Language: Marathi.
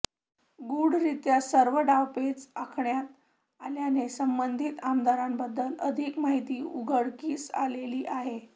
गूढरित्या सर्व डावपेच आखण्यात आल्याने संबंधित आमदारांबद्दल अधिक माहिती उघडकीस आलेली नाही